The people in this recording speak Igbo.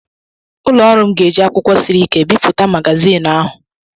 Ụlọ ọrụ m ga-eji akwụkwọ siri ike bipụta magazinụ ahụ.